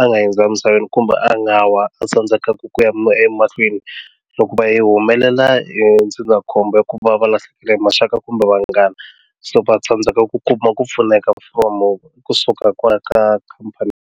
a nga hundza emisaveni kumbe a nga wa a tsandzekaka ku ya emahlweni loko va yi humelela hi ndzindzakhombo ya ku va va lahlekela hi maxaka kumbe vanghana so va tsandzeka ku kuma ku pfuneka kusuka kwala ka khampani.